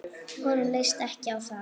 Honum leist ekki á það.